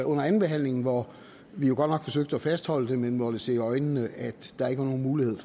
under andenbehandlingen hvor vi jo godt nok forsøgte at fastholde det vi måtte se i øjnene at der ikke var nogen mulighed